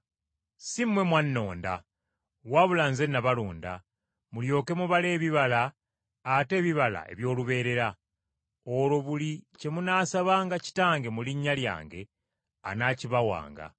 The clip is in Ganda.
Si mmwe mwannonda! Wabula Nze nabalonda, mulyoke mubale ebibala ate ebibala eby’olubeerera. Olwo buli kye munaasabanga Kitange mu linnya lyange anaakibawanga.